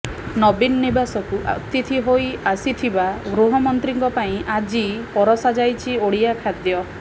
ନବୀନ ନିବାସକୁ ଅତିଥି ହୋଇ ଆସିଥିବା ଗୃହମନ୍ତ୍ରୀଙ୍କ ପାଇଁ ଆଜି ପରସା ଯାଇଛି ଓଡ଼ିଆ ଖାଦ୍ୟ